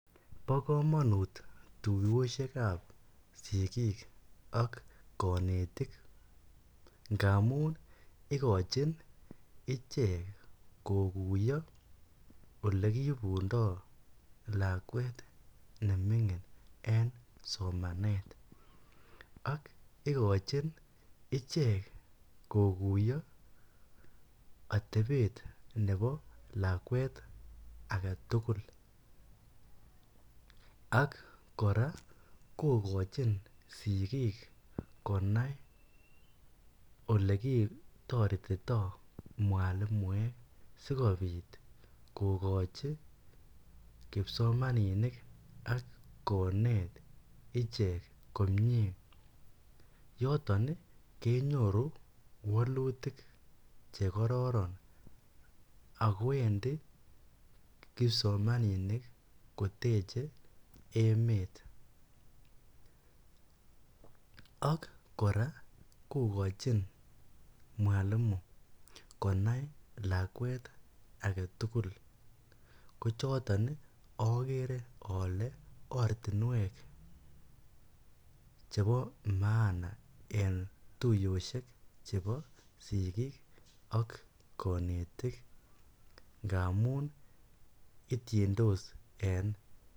bo komonuut tuyoshek ab sigiik ak konetik ngamuun igochin ichek koguyo olegibundoo lakweet nemingin en somaneet, ak igochin ichek koguyo atebeet nebo lakweet agetugul, ak kora kogochin sigiik konai olekitoretitoo mwalimuek sigobiik kogochi kipsomaninik ak koneet ichek komyee, yoton iih kenyoru wolutik chekororon ago wendi kipsomaninik koteche emet, ak kora kogochi mwalimu konai lakweet agetuugul ko choton iih ogere ole ortinweek chebo maana en tuyoshek chebo sigiik ak konetik ngamuun ityindos en